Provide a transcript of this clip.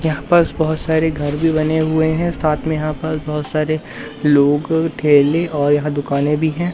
यहां पस बहोत सारे घर भी बने हुए हैं साथ में यहां पर बोहोत सारे लोग ठेले और यहां दुकान भी हैं।